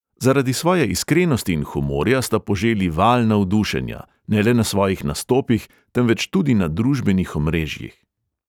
Zaradi svoje iskrenosti in humorja sta poželi val navdušenja, ne le na svojih nastopih, temveč tudi na družbenih omrežjih.